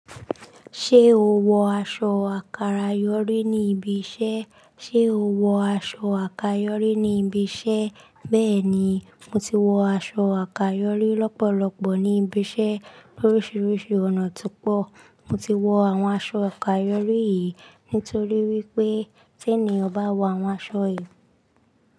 Ṣé o wọ aṣọ àkàrà yọ́rí ní ibi iṣẹ́? Ṣé o wọ aṣọ àkà yọ́rí ní ibi iṣẹ́? Bẹ́ẹ̀ni, mo ti wọ aṣọ àkàrà lọ́rí lọ́pọ̀lọpọ̀ ní ibi iṣẹ́ lóríṣiríṣi ọ̀nà tó pọ̀. Mo ti wọ àwọn aṣọ àkàrà ayọ́rí yìí nítorí wípé tí ẹni ọ̀ bá wọ àwọn aṣọ yìí.